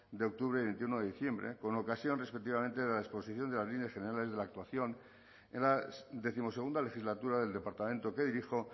de octubre y veintiuno de diciembre con ocasión respectivamente de la exposición de las líneas generales de la actuación en la decimosegunda legislatura del departamento que dirijo